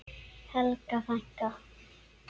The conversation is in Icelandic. Helga frænka.